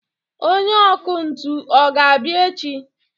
Onye ọkụ ntụ ọ ga-abịa echi